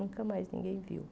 Nunca mais ninguém viu.